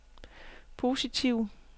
positive